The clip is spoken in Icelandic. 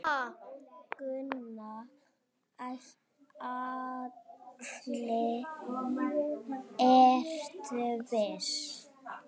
Gunnar Atli: Ertu viss?